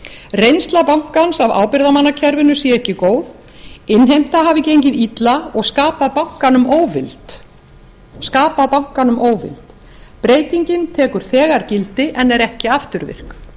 reynsla bankans af ábyrgðarmannakerfinu sé ekki góð innheimta hafi gengið illa og skapað bankanum óvild breytingin tekur þegar gildi en er ekki afturvirk